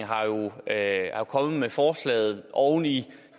er jo kommet med forslaget oven i